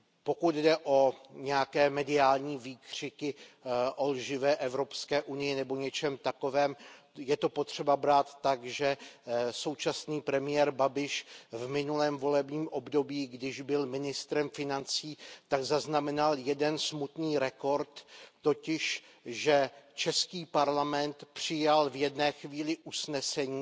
Pokud jde o nějaké mediální výkřiky o lživé Evropské unii nebo něčem takovém, je to potřeba brát tak, že současný premiér Babiš v minulém volebním období, když byl ministrem financí, zaznamenal jeden smutný rekord, totiž, že český parlament přijal v jedné chvíli usnesení